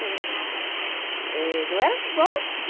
Que a gente eh... Não era igual aqui.